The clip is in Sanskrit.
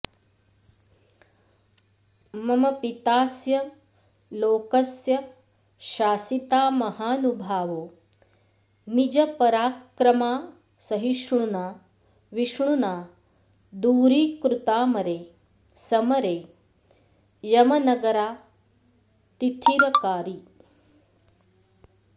मम पितास्य लोकस्य शासिता महानुभावो निजपराक्रमासहिष्णुना विष्णुना दूरीकृतामरे समरे यमनगरातिथिरकारि